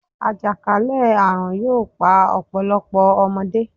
Àjàkálẹ̀ àrùn yóò pa ọ̀pọ̀lọpọ̀ ọmọdé.